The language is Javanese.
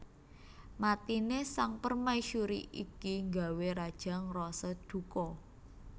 Matine Sang Permaisuri iki nggawé Raja ngrasa duka